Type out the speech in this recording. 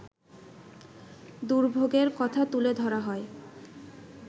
দুর্ভোগের কথা তুলে ধরা হয়